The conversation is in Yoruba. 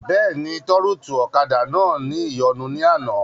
Bẹ́ẹ̀ni, tọ́rùtù ọ̀kadà náà ní ìyọnu ní àná